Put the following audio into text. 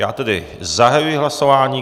Já tedy zahajuji hlasování.